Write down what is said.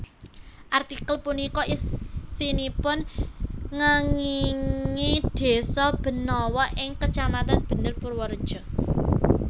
Artikel punika isinipun ngéngingi desa Benawa ing kecamatan Bener Purwareja